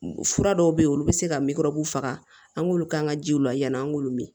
Fura dɔw bɛ yen olu bɛ se ka faga an k'olu k'an ka jiw la yanni an k'olu min